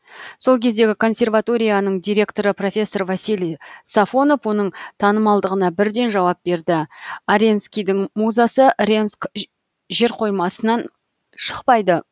сол кездегі консерваторияның директоры профессор василий сафонов оның танымалдығына бірден жауап берді аренскийдің музасы ренск жерқоймасынан шықпайды